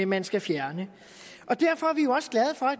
man skal fjerne